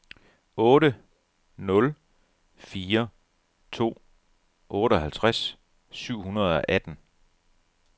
otte nul fire to otteoghalvtreds syv hundrede og atten